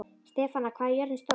Stefana, hvað er jörðin stór?